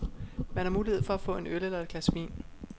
Man har mulighed for at få en øl eller et glas vin.